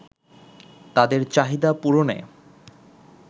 তাদের চাহিদা পূরণে